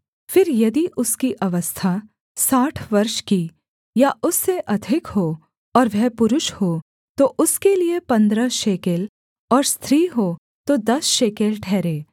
फिर यदि उसकी अवस्था साठ वर्ष की या उससे अधिक हो और वह पुरुष हो तो उसके लिये पन्द्रह शेकेल और स्त्री हो तो दस शेकेल ठहरे